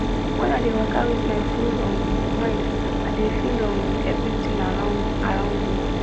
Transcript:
when i dey waka with my full um mind i dey feel um everitin around around me